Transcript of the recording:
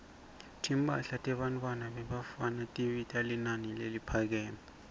timphahla tebafana tibita linani leliphakeme